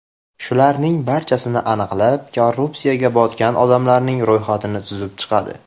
Shularning barchasini aniqlab, korrupsiyaga botgan odamlarning ro‘yxatini tuzib chiqadi.